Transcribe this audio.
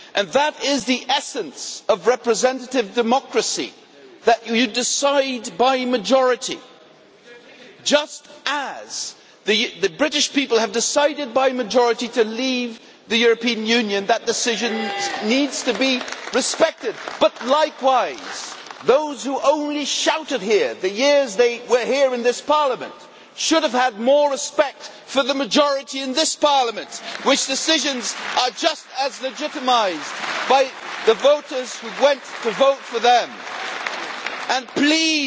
That is the essence of representative democracy that you decide by majority, just as the British people have decided by majority to leave the European Union. That decision needs to be respected. But, likewise, those who only shouted during the years they were here in this Parliament should have had more respect for the majority in this Parliament, whose decisions are just as legitimised by the voters who went to vote for them. And please,